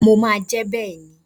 Mo máa jẹ́ bẹ́ẹ̀ ni.